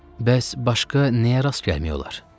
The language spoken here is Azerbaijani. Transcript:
Bəs başqa nəyə rast gəlmək olar?